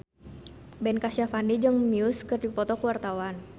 Ben Kasyafani jeung Muse keur dipoto ku wartawan